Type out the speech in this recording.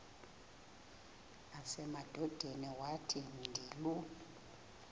nasemadodeni wathi ndilu